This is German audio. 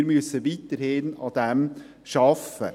Wir müssen weiterhin daran arbeiten.